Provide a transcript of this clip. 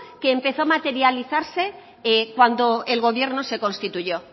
que empezó a materializarse cuando el gobierno se constituyó